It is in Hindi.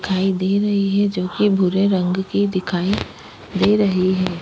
दिखाई दे रही है जो कि भुरे रंग की दिखाई दे रही है --